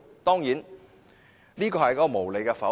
當然，這是無理的否決。